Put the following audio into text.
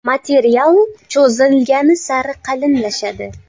Material cho‘zilgani sari qalinlashadi.